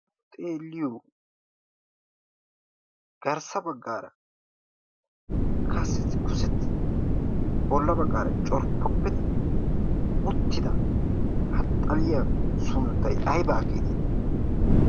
xeeliyoo garssa baggaara kaseti kusettidi bolla baggaara corppoppidi uttida kaxxaliya sunttay aybaa geeteeti?